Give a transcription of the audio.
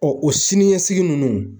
o siniɲɛsigi ninnu.